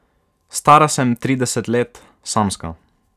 Stara sem trideset let, samska.